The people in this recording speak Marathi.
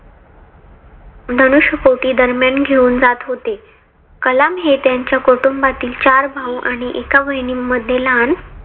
धनुष्कोटी दरम्यान घेवून जात होते. कलाम हे त्यांच्या कुटुंबातील चार भाऊ आणि एका बहिणी मध्ये लहान